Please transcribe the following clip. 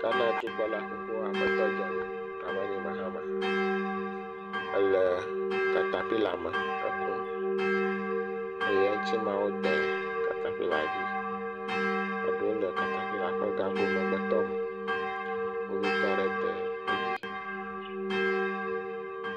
Ghana dukplɔla xoxo aƒetɔ John Dramani Mahama ele katapilame hekum eye eŋtsimewo de katapila dzi. Eɖewo le katapila ƒe gago megbetɔme. Kpovitɔ aɖe dee edzi.